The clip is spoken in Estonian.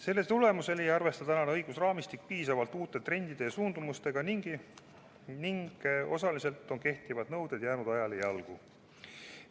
Selle tagajärjel ei arvesta tänane õigusraamistik piisavalt uute trendide ja suundumustega ning osaliselt on kehtivad nõuded ajale jalgu jäänud.